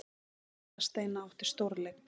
Erla Steina átti stórleik